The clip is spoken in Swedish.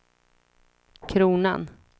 kronan